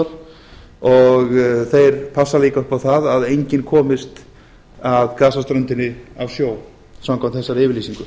þeir passa líka upp á það að enginn komist að gasaströndinni af sjó samkvæmt þessari yfirlýsingu